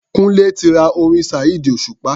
Kúńlé ti ra orin Saheed Osupa.